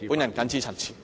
我謹此陳辭。